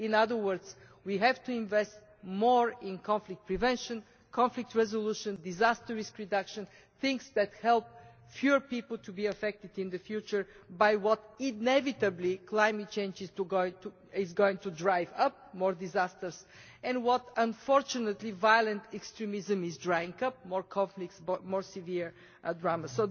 In other words, we have to invest more in conflict prevention, conflict resolution and disaster risk reduction in things that help fewer people to be affected in the future by what, inevitably, climate change is going to cause more disasters and what, unfortunately, violent extremism is producing more conflicts and more severe dramas.